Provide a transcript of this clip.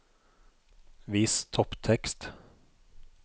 Vis topptekst